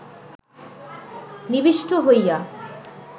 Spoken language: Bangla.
নিবিষ্ট হইয়া